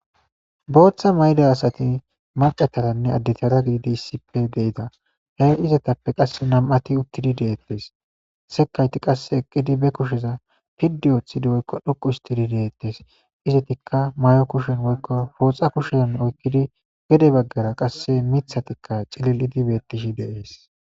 Booththa mayda asati maqetaranne addetara giidi issipe deida hee izetappe qasse nam'ati uttidi deettes sekayti qasse eqqidi be kusheza piddi ooththidi woykko dhuqu istidi deettes izetikka may'o kushen woykko fooxa kushezon oykkidi gede baggara qasse mithatikka cilil'idi bettishi deees.